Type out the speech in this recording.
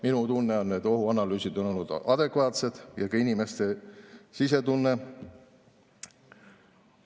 Minu tunne on, et ohuanalüüsid on olnud adekvaatsed, samuti inimeste sisetunne.